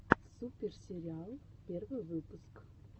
супер сериал первый выпуск